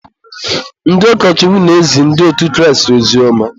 ndị ụkọchukwu na-ezi ndị otu Kraịst ozioma.